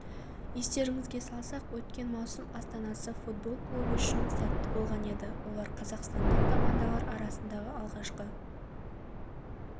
естеріңізге салсақ өткен маусым астана футбол клубы үшін сәтті болған еді олар қазақстандық командалар арасында алғашқы